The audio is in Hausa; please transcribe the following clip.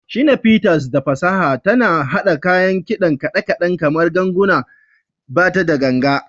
Shina Peters, da fasaha tana haɗa kayan kidan kaɗe-kaɗe kamar gangunan bata da ganga.